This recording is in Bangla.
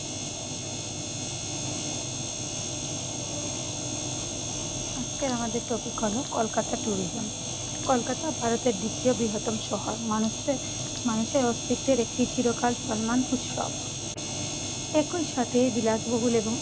আজকে আমাদের topic হলো, কলকাতা tourism কলকাতা ভারতের দ্বিতীয় বৃহত্তম শহর। মানুষদের মানুষের অস্তিত্বের একটি চিরকাল চলমান উৎসব। একই সাথে বিলাসবহুল এবং